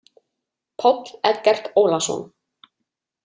Páll Eggert Ólason.